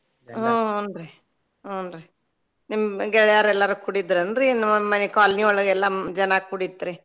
ಹು ಹುಂ ರೀ ಹುಂ ರೀ ನಿಮ್ಮ್ ಗೆಳ್ಯಾರ ಎಲ್ಲಾರು ಕೂಡಿದ್ರ ಏನ್ರೀ ಇನ್ನ್ ನಮ್ಮನೇಲಿ colony ಒಳಗ ಎಲ್ಲಾ ಜನ ಕೂಡಿತ್ರಿ?